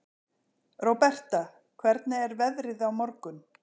Róberta, hvernig er veðrið á morgun?